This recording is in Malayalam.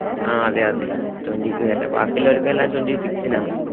ആഹ് അതെ അതെ twenty തരുണേ വാക്കി എള്ളോർക്കു എല്ലോ twentysix ന് ആണ് എനിക്കന്നെ